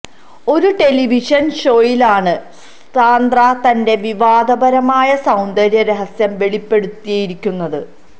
ഒരു ടെലിവിഷൻ ഷോയിലാണ് സാന്ദ്ര തന്റെ വിവാദപരമായ സൌന്ദര്യ രഹസ്യം വെളിപ്പെടുത്തിയിരിക്കുന്നത്